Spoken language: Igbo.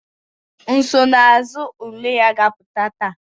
Nsonaazụ ule ya ga-apụta taa